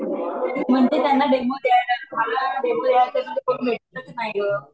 म्हणते त्यांना डेमो द्यायला आता मग कोणी येतच नाही ग